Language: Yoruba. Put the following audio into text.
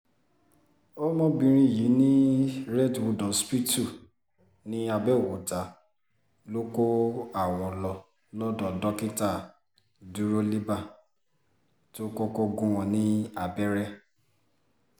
ọmọbìnrin yìí ní redwood hospital ni àbẹ́ọ̀kúta ló kó àwọn lọ lọ́dọ̀ dókítà dúrólíbà tó kọ́kọ́ gún wọn ni lábẹ́rẹ́